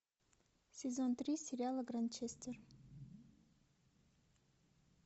сезон три сериала гранчестер